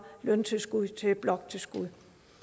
løntilskud til bloktilskud